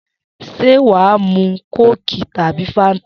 S̩é wàá mu kóòkì tàbí fáńtà?